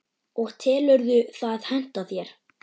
og telurðu það henta þér?